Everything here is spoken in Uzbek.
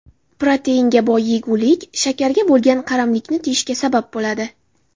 Proteinga boy yegulik, shakarga bo‘lgan qaramlikni tiyishga sabab bo‘ladi.